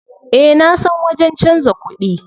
Eh nasan wajen canza kuɗi.